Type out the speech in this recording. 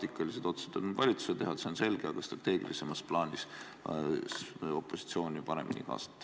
Taktikalised otsused on valitsuse teha, see on selge, aga strateegilisemas plaanis võiks opositsiooni paremini kaasata.